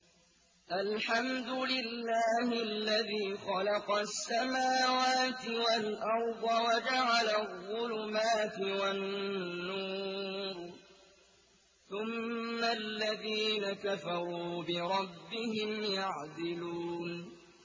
الْحَمْدُ لِلَّهِ الَّذِي خَلَقَ السَّمَاوَاتِ وَالْأَرْضَ وَجَعَلَ الظُّلُمَاتِ وَالنُّورَ ۖ ثُمَّ الَّذِينَ كَفَرُوا بِرَبِّهِمْ يَعْدِلُونَ